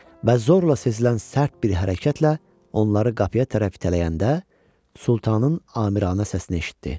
Və zorla sezilən sərt bir hərəkətlə onları qapıya tərəf itələyəndə Sultanın amiranə səsini eşitdi.